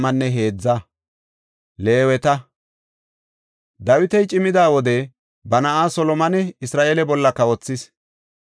Dawiti cimida wode ba na7aa Solomone Isra7eele bolla kawothis.